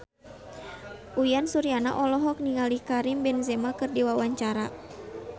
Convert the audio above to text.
Uyan Suryana olohok ningali Karim Benzema keur diwawancara